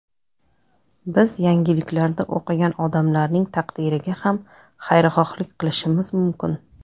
Biz yangiliklarda o‘qigan odamlarning taqdiriga ham xayrixohlik qilishimiz mumkin.